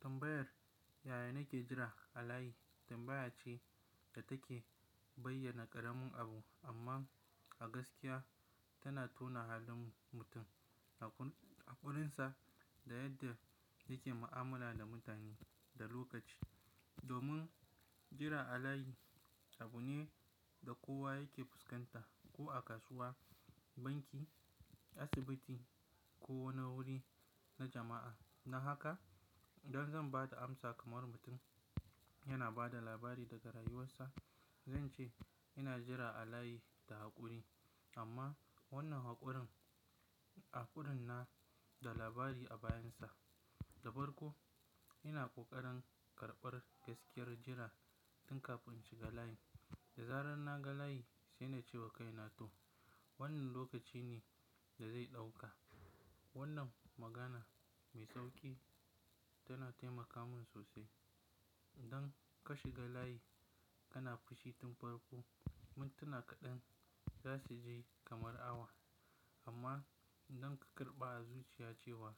Tambayar da nake jira alayi tambayace da take bayyana qaramin abu amma a gaskiya tana tauna halin mutum haqurinsa da yadda yake mu'amala da mutane domin jira a layi abu ne da kowa yake fuskanta ko a kasuwa, banki, asibiti ko wani wuri na jama'a. Dan haka idan zan ba da amsa kamar mutum yana ba da labari daga rayuwarsa, zan ce ina jira a layi da haƙuri. Amma wannan haƙurin, haƙurin na da labari a bayan sa. Da farko ina ƙoƙarin karɓar gaskiyar jira tun kafin in shiga layi. Da zarar na ga layi sai na ce wa kaina to, wannan lokaci ne da zai ɗauka. Wannan magana mai sauƙi tana taimaka min sosai. Idan ka shiga layi kana fushi tun farko, mintuna kaɗan za su ji kamar awa. Amma idan ka karɓa a zuciya cewa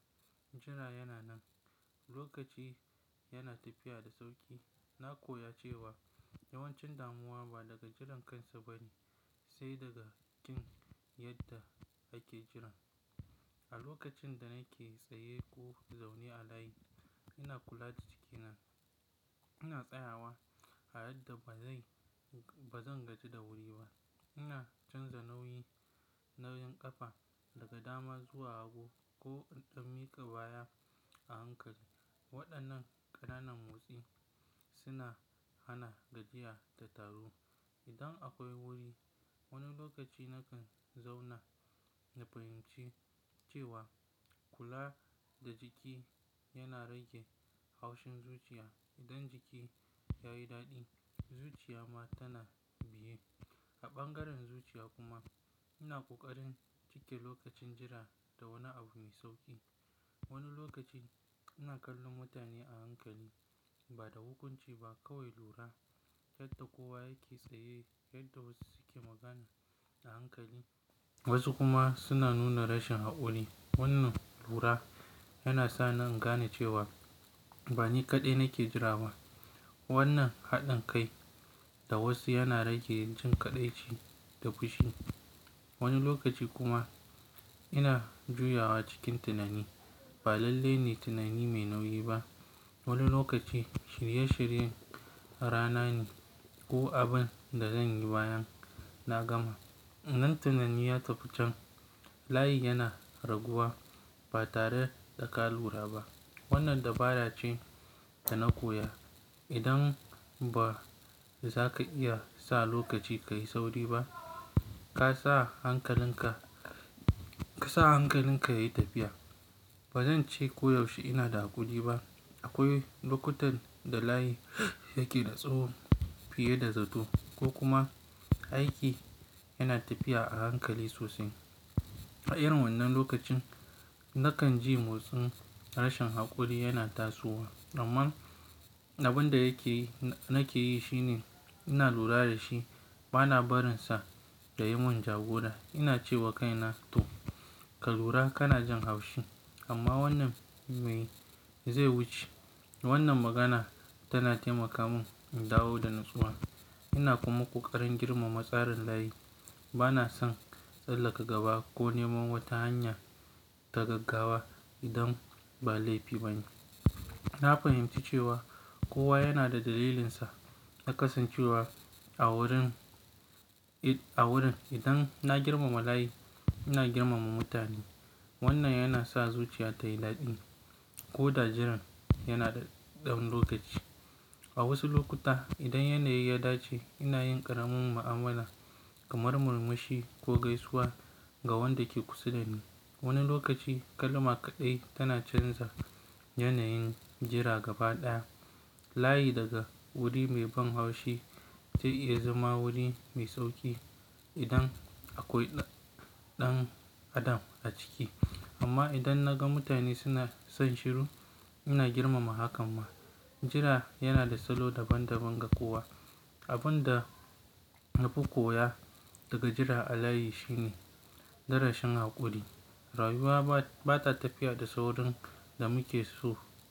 jira yana nan, lokaci yana tafiya da sauƙi. Na koya cewa yawancin damuwa ba daga jiran kansa bane sai daga jin yadda ake kiran. A lokacin da nake tsaye ko zaune a layi ina kula da jiki nan. Ina tsayawa a yadda ba zai, ba zan gaji da wuri ba. Ina canza nauyi, nauyin ƙafa daga dama zuwa hagu ko in miƙa baya a hankali. Waɗannan ƙananan motsi suna hana gajiya da taru. Idan akwai wuri, wani lokaci nakan zauna na fahimci cewa kula da jiki yana rage haushin zuciya. Idan jiki yayi daɗi zuciya ma tana biye. A ɓangaren zuciya kuma ina ƙoƙarin cike lokacin jira da wani abu mai sauƙi. Wani lokaci ina kallon mutane a hankali ba da hukunci ba kawai lura yadda kowa yake tsaye, yadda wasu suke magana a hankali. Wasu kuma suna nuna rashin haƙuri. Wannan lura yana sa ni in gane cewa ba ni kaɗai nake jira ba. Wannan haɗin kai da wasu yana rage jin kaɗaici da fushi. Wani lokaci kuma ina juyawa cikin tunani. Ba lalle ne tunani mai nauyi ba. Wani lokaci shirye shiryen rana ne ko abin da zan yi bayan na gama. Nan tunaniya tafi chan layin yana raguwa ba tare da ka lura ba. Wannan dabara ce da na koya. Idan ba za ka iya sa lokaci ka yi sauri ba, ka sa hankalinka, ka sa hankalinka ya yi tafiya. Ba zan ce koyaushe ina da haƙuri ba. Akwai lokutan da layi yake da tsawo fiye da zato ko kuma aiki yana tafiya a hankali sosai. A irin wannan lokacin nakan ji motsin rashin haƙuri yana tasowa. Amma abin da yake yi, nake yi shine ina lura da shi bana barinsa ya yi mun jagora. Ina ce wa kaina to, ka lura kana jin haushi amma wannan ma zai wuce. Wannan magana tana taimaka mun in dawo da natsuwa. Ina kuma ƙoƙarin girmama tsarin layi. Ba na son tsallaka gaba ko neman wata hanya ta gaggawa idan ba laifi bane. Na fahimci cewa kowa yana da dalilinsa. A kasancewa a wurin awurin idan na girmama layin ina girmama mutane. Wannan yana sa zuciya ta yi daɗi koda jiran yana ɗan lokaci. A wasu lokuta idan yanayi ya dace ina yin ƙaramin mu'amala kamar murmushi ko gaisuwa ga wanda ke kusa da ni. Wani lokaci kalma kaɗai tana canza yanayin jira gaba ɗaya. Layi daga wuri mai ban haushi zai iya zama wuri mai sauƙi idan akwai ɗan adam a ciki. Amma idan na ga mutane suna son shiru ina girmama hakan ma. Jira yana da salo daban daban ga kowa. Abin da na fi koya daga jira a layi shine darasin haƙuri. Rayuwa ba, ba ta tafiya da saurin da muke so.